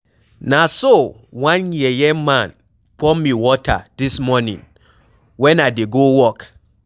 Na so one yeye man pour me water dis morning wen I dey go work.